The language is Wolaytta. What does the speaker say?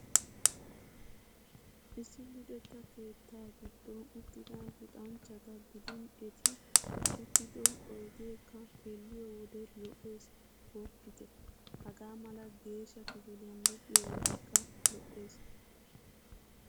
Issi luxetta keettaa giddon uttida luxanchchata gidin eti uttido oydeekka xeelliyo wode lo'ees gooppite! Hagaa mala geedhsha kifilyan luxiyo wodekka lo'ees.